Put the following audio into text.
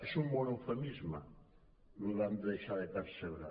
és un bon eufemisme lo de van deixar de percebre